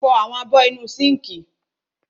Fọ àwọn abọ́ inú sínkì.